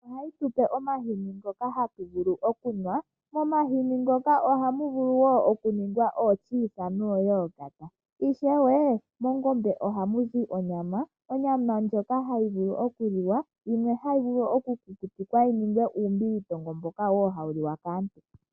Ongombe oha yi tu pe omahini ngoka ha tu vulu okunwa momahini ngoka oha mu vulu wo oku ningwa otyiisa noyogata oshowo mongombe oha mu zi onyama, onyama ndjoka ha yi vulu okuliwa yimwe oha yi vulu okukukutikwa yi ninge uumbilitongo mboka wo hawu liwa kaantu.